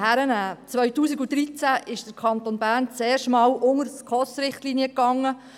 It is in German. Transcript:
2013 unterschritt der Kanton Bern erstmals die SKOS-Richtlinien.